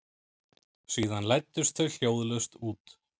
Síðan læddust þau hljóðlaust út.